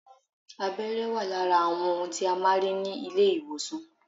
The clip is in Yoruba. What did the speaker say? Abẹ́rẹ́ wà lára àwọn ohun tí a máa ń rí ní ilé ìwòsàn